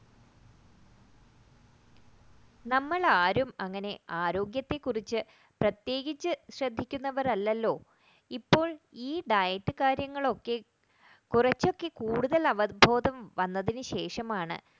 നമ്മൾ ആരും അങ്ങനെ ആരോഗ്യത്തിനെ കുറിച്ച് പ്രത്യേകിച്ച് ശ്രദ്ധിക്കുന്നവർ അല്ലല്ലോ ഇപ്പോൾ ഈ diet കാര്യങ്ങളൊക്കെ കുറച്ചൊക്കെ കൂടുതൽ അവബോധം വന്നതിനുശേഷം ആണ്